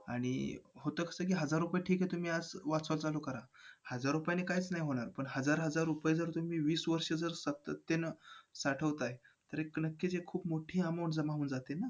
अशा बऱ्याच गोष्टी आहेत म्हणजे सुरुवात तर तिकडं झाली मग त्याच्यानंतर जरी ते संपलं तरी त्याच्यानंतर जे आहे तेवढ्याची तरी काळजी घेणं आपलं कर्तव्य आहे.